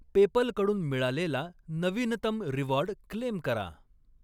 PayPal कडून मिळालेला नवीनतम रिवॉर्ड क्लेम करा.